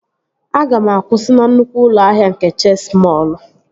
Aga m akwụsị na nnukwu ụlọ ahịa nke Chesi mọọl!